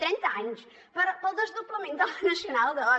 trenta anys per al desdoblament de la nacional ii